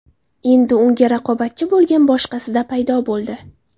Endi unga raqobatchi bo‘lgan boshqasida paydo bo‘ldi.